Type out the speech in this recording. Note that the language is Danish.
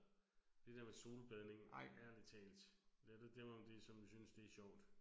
Det der med solbadning ærligt talt. Lad da dem om det som synes det er sjovt